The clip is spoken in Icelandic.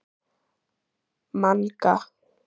Manga, slökktu á þessu eftir sextíu og fimm mínútur.